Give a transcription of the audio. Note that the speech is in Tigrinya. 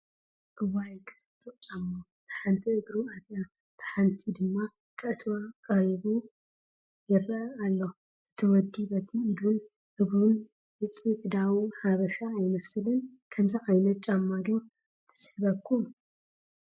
እዋይ ክፅብቕ ጫማ! እታ ሓንቲ እግሩ ኣትያ እታ ሓንቲ ድማ ከእትዋ ተቐሪቡ ይረአ ኣሎ፡፡ እቲ ወዲ በቲ ኢዱን እግሩን ምፅዕዳው ሓበሻ ኣይመስልን፡፡ ከምዚኣ ዓይነት ጫማ ዶ ትስሕበኩም?